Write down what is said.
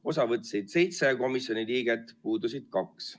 Osa võttis seitse komisjoni liiget, puudus kaks.